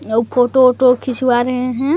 लोग फोटो ओटो खिंचवा रहे हैं।